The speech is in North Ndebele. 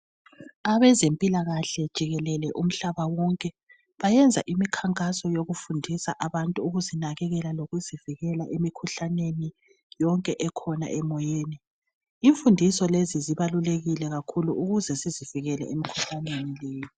Abezempilakahle jikelele umhlabawonke bayenza imkhankhaso yokufundisa abantu ukizinakekela lokuzivikela emikhuhlaneni yonkee khona emoyeni imfundiso lezi zibalulekile kakhulu ukuzesizivikele emkhuhlaneni leyi